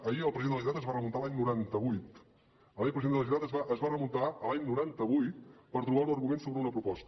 ahir el president de la generalitat es va remuntar a l’any noranta vuit ahir el president de la generalitat es va remuntar a l’any noranta vuit per trobar un argument sobre una proposta